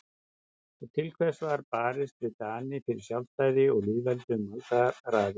Og til hvers var barist við Dani fyrir sjálfstæði og lýðveldi um aldaraðir?